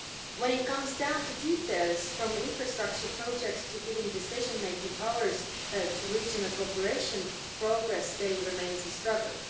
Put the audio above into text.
When it comes down to details, from infrastructure projects to giving decision making powers, to regional cooperation, progress still remains a struggle.